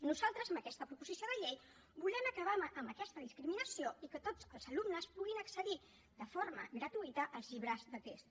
nosaltres amb aquesta proposició de llei volem acabar amb aquesta discriminació i que tots els alumnes puguin accedir de forma gratuïta als llibres de text